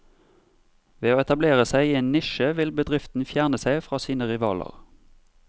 Ved å etablere seg i en nisje vil bedriften fjerne seg fra sine rivaler.